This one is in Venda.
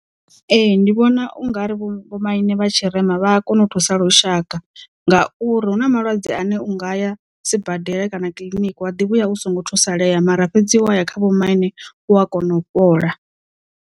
Ee ndi vhona ungari vho maine vhatshirema vha a kona u thusa lushaka ngauri hu na malwadze ane u ngaya sibadela kana kiḽiniki wa ḓi vhuya u songo thusaleya mara fhedzi wa ya kha vhomaine u a kona u fhola.